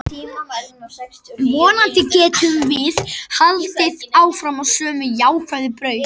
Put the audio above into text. Vonandi getum við haldið áfram á sömu jákvæðu braut.